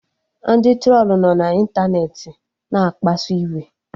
Ndị trolu nọ na ịntanetị na-akpasu iwe